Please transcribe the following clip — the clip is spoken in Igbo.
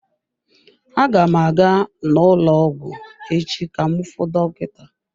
Aga m aga n'ụlọ ọgwụ echi ka m fuu dọkịta.